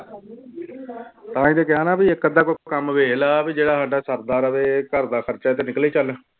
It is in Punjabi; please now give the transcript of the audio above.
ਤਾਂ ਹੀ ਤੇ ਕਿਹਾ ਨਾ ਵੀ ਇੱਕ ਅੱਧਾ ਕੋਈ ਕੰਮ ਵੇਖ ਲਾ ਵੀ ਜਿਹੜਾ ਸਾਡਾ ਸਰਦਾ ਰਵੇ ਘਰਦਾ ਖ਼ਰਚਾ ਤੇ ਨਿਕਲੇ ਚੱਲ